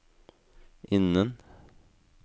innen